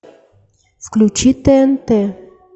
включи тнт